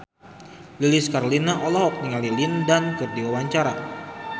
Lilis Karlina olohok ningali Lin Dan keur diwawancara